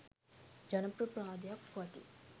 ජනප්‍රවාදයක් පවතී.